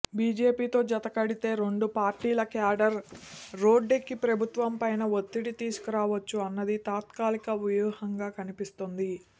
బీజేపీతో జత కడితే రెండు పార్టీల క్యాడర్ రోడ్డెక్కి ప్రభుత్వంపైన ఒత్తిడి తీసుకురావచ్చు అన్నది తాత్కాలిక వ్యూహంగా కనిపిస్తోంది